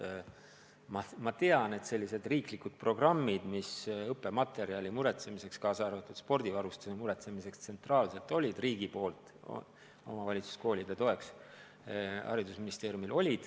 Aga ma tean, et haridusministeeriumil on olnud riiklikud programmid õppematerjali muretsemiseks, kaasa arvatud spordivarustuse tsentraalselt muretsemiseks, et omavalitsuskoole toetada.